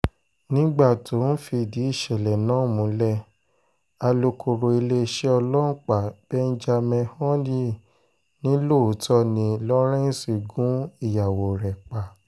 nígbà tó ń fìdí ìṣẹ̀lẹ̀ náà múlẹ̀ múlẹ̀ alūkkóró iléeṣẹ́ ọlọ́pàá benjamin hondyin ni lóòótọ́ ni lawrence gun ìyàwó rẹ̀ pa